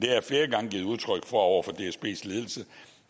jeg flere gange givet udtryk for over for dsbs ledelse